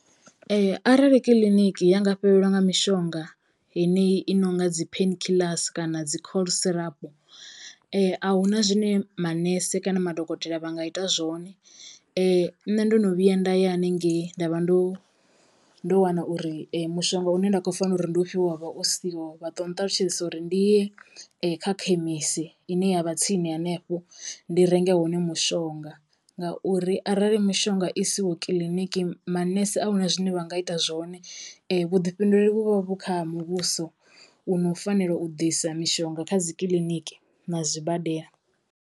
Arali kiḽiniki ya nga fhelelwa nga mishonga yeneyi i nonga dzi painkillers kana dzi cold syrup ahuna zwine manese kana madokotela vha nga ita zwone. Nṋe ndo no vhuya nda ya haningei nda vha ndo ndo wana uri mushonga une nda khou fanelo uri ndi ufhiwe wa vha u siho, vha to nṱalutshedzisa uri ndi ye kha khemisi ine yavha tsini hanefho ndi renge hone mushonga ngauri arali mishonga i siho kiḽiniki manese a huna zwine vha nga ita zwone. Vhuḓifhinduleli vhu vha vhu kha muvhuso u no fanela u ḓisa mishonga kha dzi kiḽiniki na zwibadela.